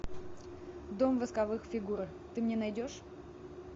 дом восковых фигур ты мне найдешь